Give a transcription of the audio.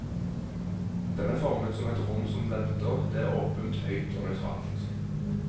Den er formet som et rom som venter, det er åpent, høyt og nøytralt.